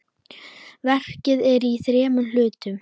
Verkið er í þremur hlutum.